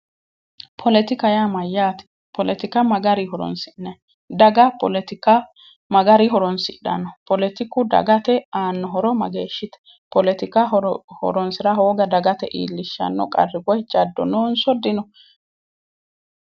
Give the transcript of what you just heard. Politika yaa mayaate politika magarinni horonsine'neemmo dagabpolitika magarinni horoonsidhanno politiku dagate aanno horo mageeshshite politika horoonsira hooga dagate iillishshanno jaddo noonsso dino